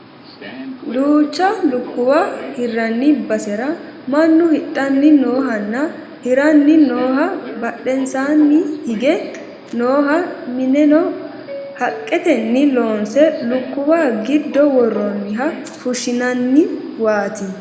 Duucha lukkuwa hirranni basera mannu hidhanni noohanna hiranni nooha badhensaa nni hige nooha mineno haqqetenni loonse lukkuwa giddo worroonniha fushshinanniwaati